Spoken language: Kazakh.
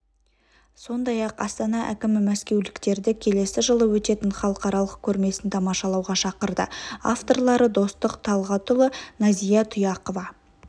сондай-ақ астана әкімі мәскеуліктерді келесі жылы өтетін халықаралық көрмесін тамашалауға шақырды авторлары достық талғатұлы назия тұяқова